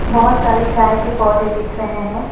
बहुत सारे चाय के पौधे दिख रहे हैं।